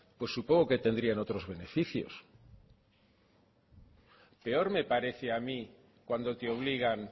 pues supongo que tendrían otros beneficios peor me parece a mí cuando te obligan